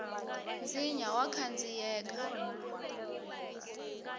nsinya wa khandziyeka